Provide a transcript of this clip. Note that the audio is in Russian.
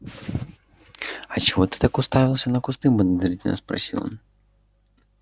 а чего ты так уставился на кусты подозрительно спросил он